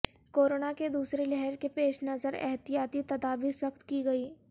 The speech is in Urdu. کورونا کی دوسری لہر کے پیش نظر احتیاطی تدابیر سخت کی گئی